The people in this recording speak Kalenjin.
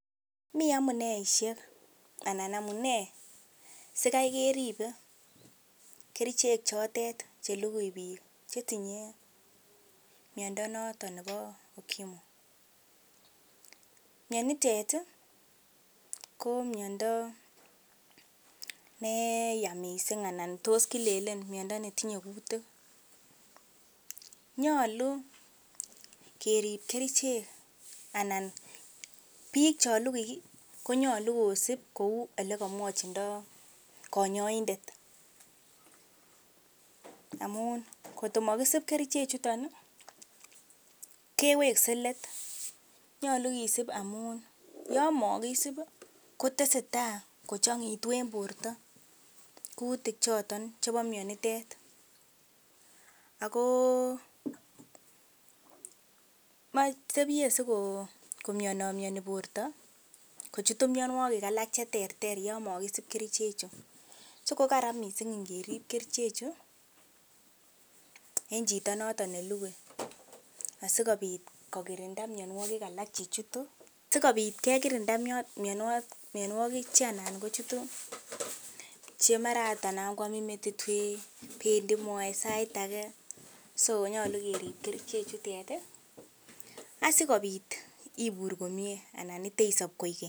Mi amuneishek sikai keribe kerichek chotet chelugui biik che tinye miando noto nebo UKIMWI. Mianitet ko miondo ne yaa mising, anan tos kilelen miondo netinye kutik. Nyolu keri kerichek anan biik chon lugui konyolu kosib kou ole komwochido konyoindet. Amun kotkomokisib kerichek chuto kewekse leet. Nyolu kisib amun yon mokisib kotesetai kochang'aegitu en borto kutik choton chebo mianitet. Ago tebye sikomianomiani borto kochutu mianwogik alak che terter yon mogisib kericheju. So kararan mising ingerib kericheju en chito noto nelugui asikobit kokirinda mianwogik alak che chutu. Sikobit kekirinda mianwogik che anan kochuto, che mara agot, anan koamin metit wee, bendi moet sait age, so nyolu kerib kerichejutet asikobit ibur komyee anan iteisob koigeny.